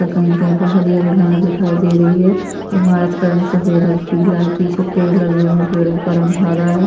त कही-कही पर हरी-हरी घाँस दिखाई दे रही है ईमारत का रंग सफ़ेद और पीला है पीछे पेड़ लगे हुए है पेड़ो का रंग हरा है।